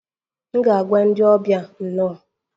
M ga-agwa ndị ọbịa 'nno'